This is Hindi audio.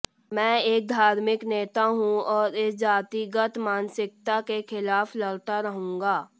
मैं एक धार्मिक नेता हूं और इस जातिगत मानसिकता के खिलाफ लड़ता रहूंगा